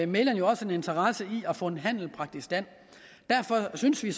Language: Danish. mægleren jo også en interesse i at få en handel bragt i stand derfor synes vi